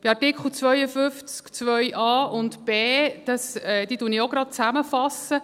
Bei Artikel 52 Absatz 2 fasse ich die Buchstaben a und b gleich zusammen.